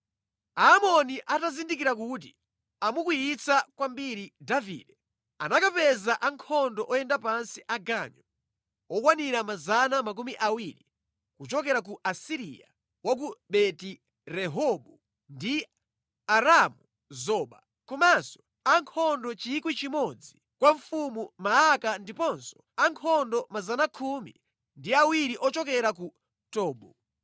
Aamoni atazindikira kuti amukwiyitsa kwambiri Davide, anakapeza ankhondo oyenda pansi aganyu okwanira 20,000 kuchokera ku Asiriya wa ku Beti Rehobu ndi Aramu-Zoba, komanso ankhondo 1,000 kwa mfumu Maaka ndiponso ankhondo 22,000 ochokera ku Tobu.